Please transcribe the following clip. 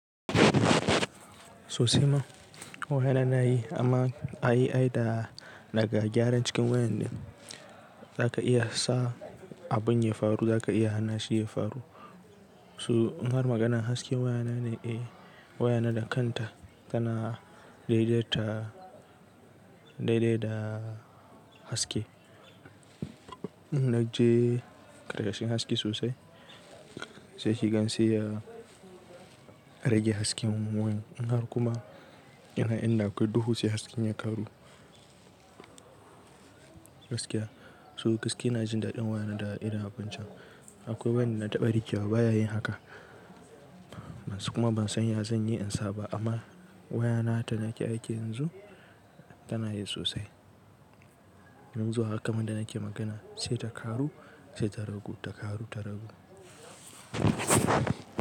Sosai ma waya na na yi amma ai da daga gyaran cikin wayan ne za ka iya sa abun ya faru, za ka iya hana shi ya faru. So inhar maganan hasken waya na ne? Eh waya na da kanta tana daidaita daidai da haske. In na je ƙarƙashin haske sosai sai shi gan seya rage hasken wayan. In har kuma ina inda akwai duhu sai hasken ya karu gaskiya. To gaski na jin daɗin waya na da irin abincin. Akwai wanda na taɓa rikewa baya yin haka. Kuma ban san ya zan yi in sa ba amma waya na da nake aiki yanzu tana yi sosai. Yanzu haka ma da nake magana sai ta karu sai ta ragu ta karu ta ragu.